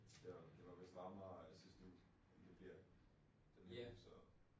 Det var det var vist varmere sidste uge end det bliver den her uge så